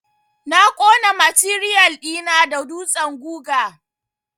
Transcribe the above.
Na ƙona matiriyal ɗi na da dutsen guga.